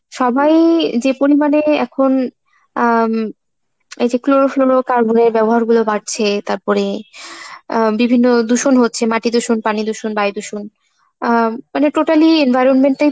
সবাই যে পরিমানে এখন আহ এই যে Chlorofluorocarbon এর ব্যবহার গুলো বাড়ছে তারপরে আহ বিভিন্ন দূষণ হচ্ছে মাটি দূষণ, পানি দূষণ, বায়ু দূষণ আহ মানে totally environment টাই